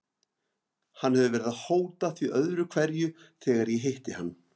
Hann hefur verið að hóta því öðru hverju þegar ég hitti hann.